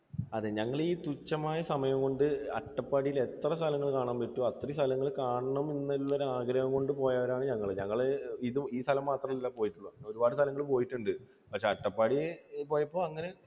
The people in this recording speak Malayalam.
അതെ ഞങ്ങൾ ഈ തുച്ഛമായ സമയംകൊണ്ട് അട്ടപ്പാടിയിൽ എത്ര സ്ഥലങ്ങൾ കാണാൻ പറ്റുമോ അത്രയും സ്ഥലങ്ങൾ കാണണം എന്നുള്ള ഒരു ആഗ്രഹം കൊണ്ട് പോയവരാണ് ഞങ്ങൾ. ഞങ്ങൾ ഈ സ്ഥലം മാത്രം അല്ല പോയിട്ടുള്ളത്. ഒരുപാട് സ്ഥലങ്ങളിൽ പോയിട്ടുണ്ട് പക്ഷേ അട്ടപ്പാടി പോയപ്പോൾ അങ്ങനെ